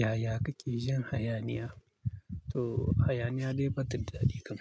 Yaya kake jin hayaniya? To hayaniya dai batta da dadi kam.